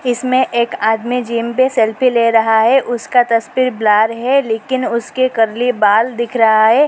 इसमें एक आदमी जिम पे सेल्फी ले रहा है उसका तस्वीर ब्लर है लेकिन उसके कर्ली बाल दिख रहा है।